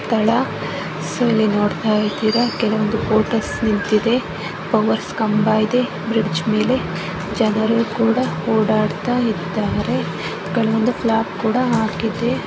ಸ್ಥಳ ಸೊ ಇಲ್ಲಿ ನೋಡ್ತಾ ಇದ್ದೀರಾ ಕೆಲವೊಂದು ಬೋಟಸ್ ನಿಂತಿದೆ ಕಂಬ ಇದೆ ಬ್ರಿಡ್ಜ್ ಮೇಲೆ ಜನರು ಕೂಡಾ ಓಡಾಡತಾ ಇದ್ಧಾರೆ .